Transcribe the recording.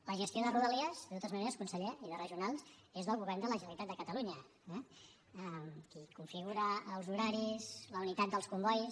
la gestió de rodalies de totes maneres conseller i de regionals és del govern de la generalitat de catalunya eh qui configura els horaris la unitat dels combois